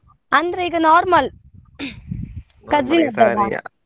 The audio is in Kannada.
ಅಂದ್ರೆ ಈಗ normal .